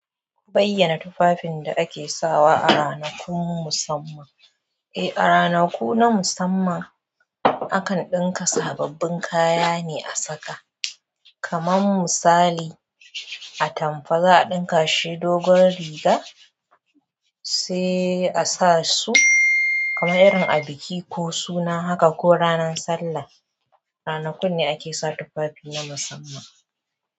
Ku bayyana tufafin da ake sawa a ranakun musamman. Eh, a ranaku na musamman akan ɗinka sababbin kaya ne a saka. Kaman misali, atamfa za'a ɗinka shi dogon riga sai a sa su. Kaman irin a biki ko suna haka ko ranan sallah. Ranakun ne ake sa tufafi na musamman.